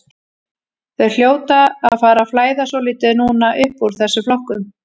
Þeir hljóta að fara að flæða svolítið núna uppúr þessum flokkum.